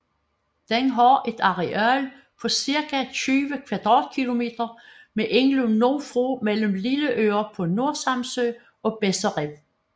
Den har et areal på cirka 20 km² med indløb nordfra mellem Lilleøre på Nordsamsø og Besser Rev